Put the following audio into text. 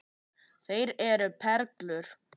Þeir eru perlur.